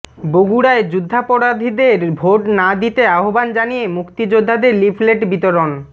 বগুড়ায় যুদ্ধাপরাধীদের ভোট না দিতে আহ্বান জানিয়ে মুক্তিযোদ্ধাদের লিফলেট বিতরণ